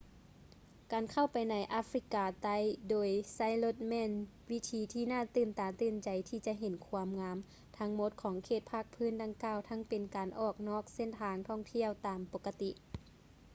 ການເຂົ້າໄປໃນອາຟຣິກາໃຕ້ໂດຍໃຊ້ລົດແມ່ນວິທີທີ່ໜ້າຕື່ນຕາຕື່ນໃຈທີ່ຈະເຫັນຄວາມງາມທັງໝົດຂອງເຂດພາກພື້ນດັ່ງກ່າວທັງເປັນການອອກນອກເສັ້ນທາງທ່ອງທ່ຽວຕາມປົກກະຕິ